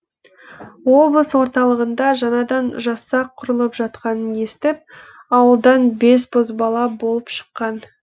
облыс орталығында жаңадан жасақ құрылып жатқанын естіп ауылдан бес бозбала болып шыққан